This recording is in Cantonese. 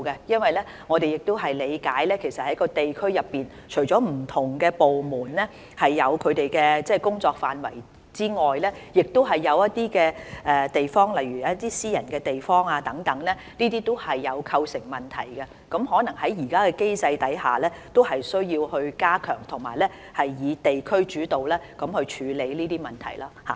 因為據我們理解，在地區上，除了不同部門有他們負責的工作範圍外，另一些地點，例如私人的地方等，都會構成問題，而在現時的機制下，有可能需要加強及以地區主導的方式來處理這些問題。